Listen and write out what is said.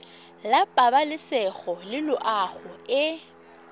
la pabalesego le loago e